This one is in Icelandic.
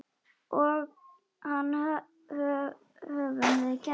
Og það höfum við gert.